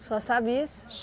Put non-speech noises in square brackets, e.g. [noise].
só sabe isso? [unintelligible]